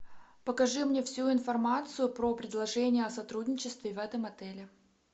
покажи мне всю информацию про предложения о сотрудничестве в этом отеле